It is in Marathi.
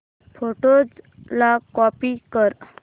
फोटोझ ला कॉपी कर